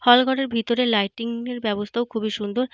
হল ঘরের ভিতরে লাইটিং এর ব্যাবস্থাও খুবই সুন্দর।